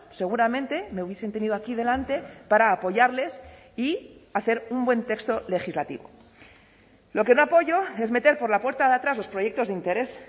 seguramente me hubiesen tenido aquí delante para apoyarles y hacer un buen texto legislativo lo que no apoyo es meter por la puerta de atrás los proyectos de interés